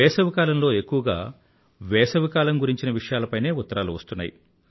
వేసవికాలంలో ఎక్కువగా వేసవికాలం గురించిన విషయాలపైనే ఉత్తరాలు వస్తున్నాయి